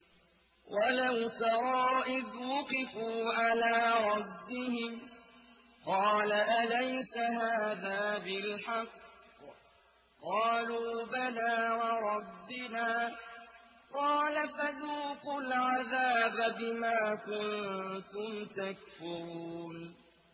وَلَوْ تَرَىٰ إِذْ وُقِفُوا عَلَىٰ رَبِّهِمْ ۚ قَالَ أَلَيْسَ هَٰذَا بِالْحَقِّ ۚ قَالُوا بَلَىٰ وَرَبِّنَا ۚ قَالَ فَذُوقُوا الْعَذَابَ بِمَا كُنتُمْ تَكْفُرُونَ